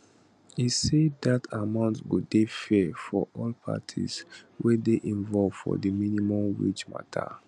e say dat amount go dey fair for all parties wey dey involved for di minimum wage mata